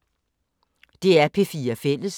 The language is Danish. DR P4 Fælles